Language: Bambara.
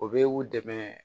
O bɛ u dɛmɛ